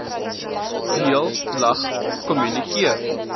deel lag kommunikeer